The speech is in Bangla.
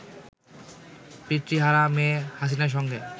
পিতৃহারা মেয়ে হাসিনের সঙ্গে